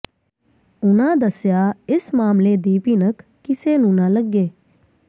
ਉਨ੍ਹਾਂ ਦੱਸਿਆ ਇਸ ਮਾਮਲੇ ਦੀ ਭਿਣਕ ਕਿਸੇ ਨੂੰ ਨਾ ਲੱਗੇ